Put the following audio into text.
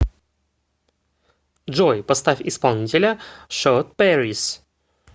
джой поставь исполнителя шотпэрис